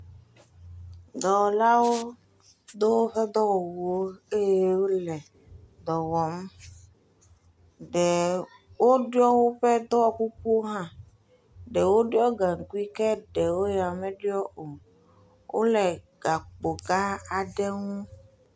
Dɔwɔlawo do woƒe dɔwɔwuwo eye wole dɔ wɔm. Ẽ woɖiɔ woƒe dɔwɔkukuwo hã. Ɖewo ɖiɔ gaŋkui, ke ɖewo ya meɖiɔ o. Wole gakpo gãã aɖe ŋu.